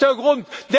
Das ist der Grund.